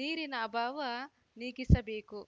ನೀರಿನ ಅಭಾವ ನೀಗಿಸಬೇಕು